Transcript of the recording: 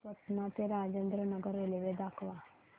पटणा ते राजेंद्र नगर रेल्वे दाखवा